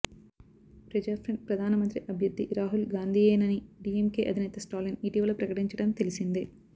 ప్రజాఫ్రంట్ ప్రధాన మంత్రి అభ్యర్థి రాహుల్ గాంధీయేనని డీఎంకే అధినేత స్టాలిన్ ఇటీవల ప్రకటించటం తెలిసిందే